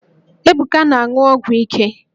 Ebuka na-aṅụ ọgwụ ike